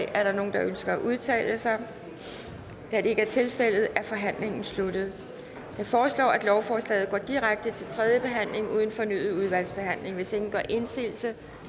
er der nogen der ønsker at udtale sig da det ikke er tilfældet er forhandlingen sluttet jeg foreslår at lovforslaget går direkte til tredje behandling uden fornyet udvalgsbehandling hvis ingen gør indsigelse